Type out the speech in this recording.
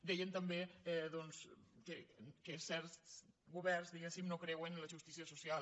deien també doncs que certs governs diguéssim no creuen en la justícia social